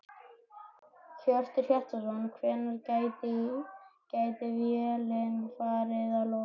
Hjörtur Hjartarson: Hvenær gæti vélin farið í loftið?